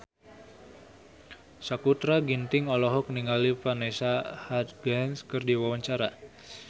Sakutra Ginting olohok ningali Vanessa Hudgens keur diwawancara